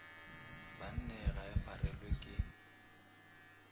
banneng ga e farelwe ke